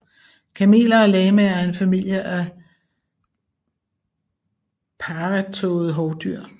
Kameler og lamaer er en familie af parrettåede hovdyr